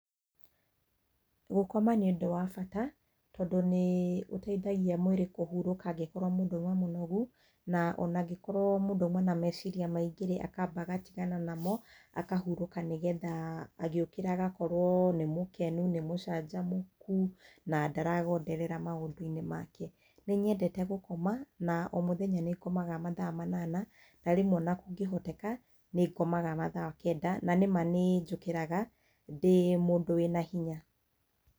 Gũkoma nĩ ũndũ wa bata tondũ nĩ ũteithagia mwĩrĩ kũhurũka angĩkorwo mũndũ aima mũnogu na ona angĩkorwo mũndũ auma na meciria maingĩ-rĩ, akamba agatigana namo, akahurũka nĩ getha agĩũkĩra agakorwo nĩ mũkenu, nĩ mũcanjamũku na ndaragonderera maũndũ-inĩ make. Nĩ nyendete gũkoma na o mũthenya nĩngomaga mathaa manana na rĩmwe ona kũngĩhoteka nĩngomaga mathaa kenda, na nĩma nĩ njũkĩraga ndĩ mũndũ wĩna hinya.